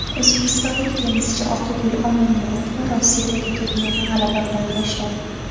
O‘zbekistonlik tennischi Oqgul Omonmurodova Rossiyadagi turnirni g‘alaba bilan boshladi.